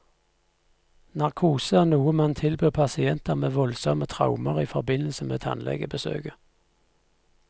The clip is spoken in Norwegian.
Narkose er noe man tilbyr pasienter med voldsomme traumer i forbindelse med tannlegebesøket.